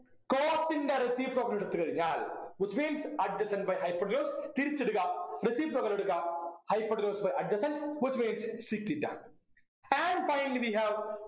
cos ൻ്റെ reciprocal എടുത്തു കഴിഞ്ഞാൽ which means adjacent by hypotenuse തിരിച്ചിടുക reciprocal എടുക്കുക hypotenuse by adjacent which means sec theta and finally we have